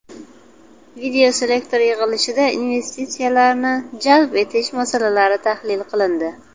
Videoselektor yig‘ilishida investitsiyalarni jalb etish masalalari tahlil qilindi.